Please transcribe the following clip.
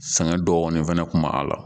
Sɛgɛn dɔɔnin fɛnɛ kun b'a a la